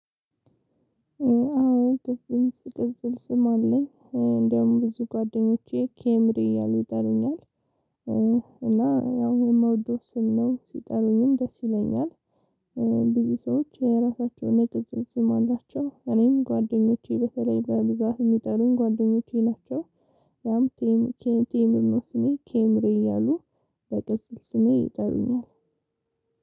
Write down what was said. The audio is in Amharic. አዎ ቅጽል፥ ቅጽል ስም አለኝ። እንደውም ብዙ ጓደኞቼ ኬምሪ እያሉ ይጠሩኛል እና ያው የምወደው ስም ነው፥ ሲጠሩኝም ደስ ይለኛል። ብዙ ሰዎች የራሳቸውን የቅጽል ስም አላቸው እኔም ጓደኞቼ በተለይ በብዛት የሚጠሩኝ ጓደኞቼ ናቸው። ያም ቴም ኬን ቴምር ነው ስሜ፥ ኬምሪ እያሉ በቅጽል ስሜ ይጠሩኛል።